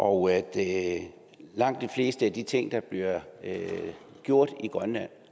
og at langt de fleste af de ting der bliver gjort i grønland